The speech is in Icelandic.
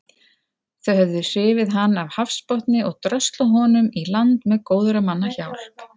Þau höfðu hrifið hann af hafsbotni og dröslað honum í land með góðra manna hjálp.